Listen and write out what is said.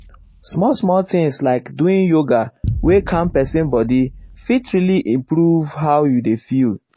small-small tins like doing yoga wey calm person body fit really improve how you dey feel.